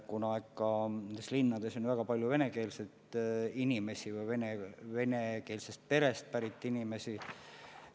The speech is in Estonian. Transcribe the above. Nendes linnades on ju väga palju venekeelseid inimesi või venekeelsest perest pärit inimesi.